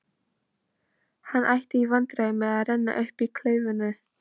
Hann átti í vandræðum með að renna upp klaufinni.